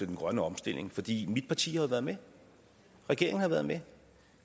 den grønne omstilling fordi mit parti jo har været med regeringen har været med